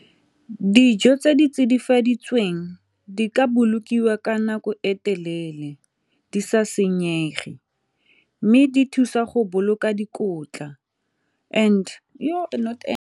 Dijo tse di tsidifaditswe teng di ka bolokiwa ka nako e telele di sa senyege mme di thusa go boloka dikotla and .